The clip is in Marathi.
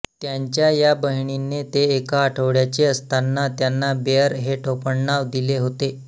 त्यांच्या या बहिणीने ते एका आठवड्याचे असताना त्यांना बेअर हे टोपणनाव दिले होते